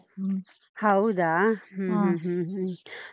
ಹ್ಮ್ ಹೌದಾ? ಹ್ಮ್ ಹ್ಮ್ ಹ್ಮ್ ಹ್ಮ್.